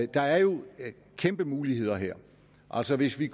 der er jo kæmpe muligheder her altså hvis vi